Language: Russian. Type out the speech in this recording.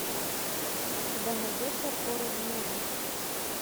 у тебя найдется хоррор муви